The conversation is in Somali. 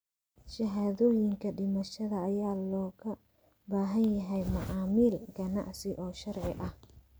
Shahaadooyinka dhimashada ayaa looga baahan yahay macaamil ganacsi oo sharci ah.